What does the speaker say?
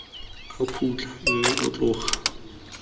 a khutla mme o tloga